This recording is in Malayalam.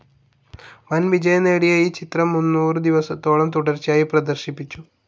വൻ വിജയം നേടിയ ഈ ചിത്രം മുന്നൂറു ദിവസത്തോളം തുടർച്ചയായി പ്രദർശിപ്പിച്ചു.